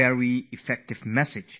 "This is C N R Rao from Bangalore